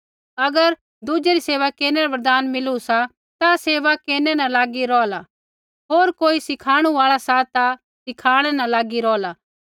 अगर दुज़ै री सेवा केरनै रा वरदान मिलु सा ता सेवा केरनै न लागी रौहला होर कोई सिखाणु आल़ा सा ता सिखाणै न लागी रौहला